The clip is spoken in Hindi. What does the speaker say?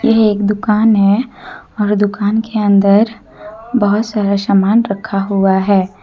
यह एक दुकान है और दुकान के अंदर बहुत सारे सामान रखा हुआ है।